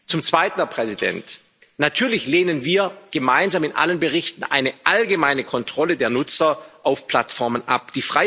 Zum Zweiten, Herr Präsident Natürlich lehnen wir gemeinsam in allen Berichten eine allgemeine Kontrolle der Nutzer auf Plattformen ab.